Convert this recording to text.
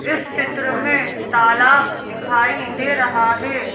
इस चित्र में तालाब दिखाई दे रहा है।